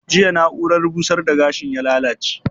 Jiya na'urar busar da gashin ya lallace?